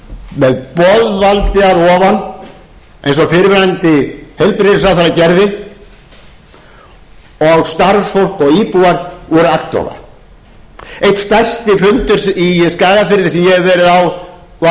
með boðvaldi að ofan eins og fyrrverandi heilbrigðisráðherra gerði og starfsfólk og íbúar voru agndofa einn stærsti fundur í skagafirði sem ég hef verið á var einmitt